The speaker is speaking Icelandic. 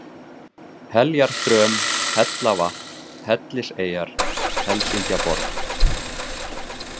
Heljarþröm, Hellavatn, Helliseyjar, Helsingjaborg